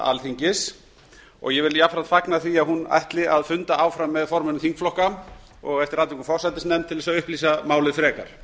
alþingis og ég vil jafnframt fagna því að hún ætli að funda áfram með formönnum þingflokka og eftir atvikum forsætisnefnd til að upplýsa málið frekar